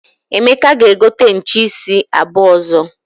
Emeka ga-egote nche isi abuo ozo.